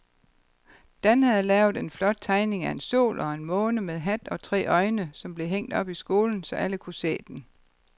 Dan havde lavet en flot tegning af en sol og en måne med hat og tre øjne, som blev hængt op i skolen, så alle kunne se den.